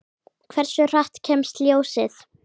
Hversu hratt kemst ljósið?